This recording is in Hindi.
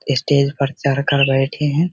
स्टेज पर चढ़कर बैठे है।